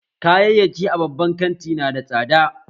Kayayyaki a babban kanti nada tsada